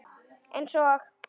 Eins og?